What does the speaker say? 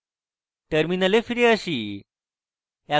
terminal ফিরে আসি